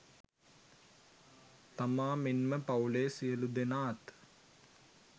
තමා මෙන්ම පවුලේ සියලු දෙනාත්